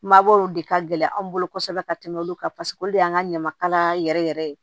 Mabɔw de ka gɛlɛ anw bolo kosɛbɛ ka tɛmɛ olu kan paseke olu de y'an ka ɲamakalaya yɛrɛ yɛrɛ ye